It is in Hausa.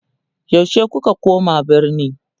yaushe kuka koma birni?